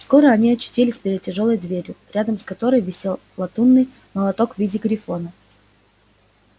скоро они очутились перед тяжёлой дверью рядом с которой висел латунный молоток в виде грифона